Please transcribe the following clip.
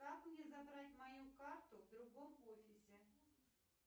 как мне забрать мою карту в другом офисе